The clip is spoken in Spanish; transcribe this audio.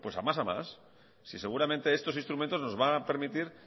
a más a más si seguramente estos instrumentos nos van a permitir